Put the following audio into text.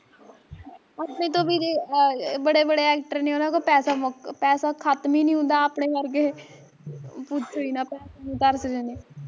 ਅਪਣੇ ਤਾਂ ਵੀਰੇ ਆ ਬੜੇ ਬੜੇ actor ਨੇ ਓਹਨਾਂ ਕੋਲ ਪੈਸਾ ਮੁੱਕ, ਖਤਮ ਈ ਨੀ ਹੁੰਦਾ ਆਪਣੇ ਵਰਗੇ ਪੂਛਿ ਈ ਨਾ ਪੈਸੇ ਨੂੰ ਤਰਸਦੇ ਨੇ